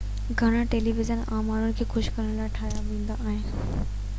گهڻا television عام ماڻهن کي خوش ڪرڻ جي لاءِ ٺاهيا ويندا آهن